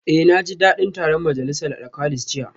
Eh naji dadin taron majalisar alkalis jiya